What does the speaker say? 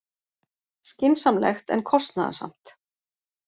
Skynsamlegt en kostnaðarsamt